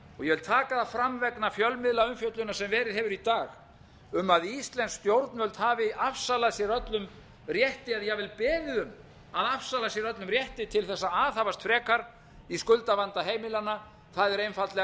ég vil taka það fram vegna fjölmiðlaumfjöllunar sem verið hefur í dag um að íslensk stjórnvöld hafi afsalað sér öllum rétti eða jafnvel beðið um að afsala sér öllum rétti til þess að aðhafast frekar í skuldavanda heimilanna það er einfaldlega